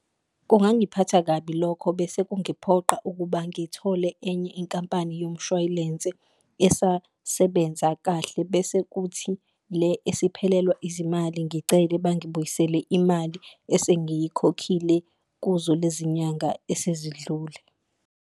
Kungangiphatha kabi lokho bese kungiphoqa ukuba ngithole enye inkampani yomshwalense esasebenza kahle, bese kuthi le esiphelelwa izimali ngicele bangibuyisele imali esengiyikhokhile kuzo lezi nyanga esezidlule.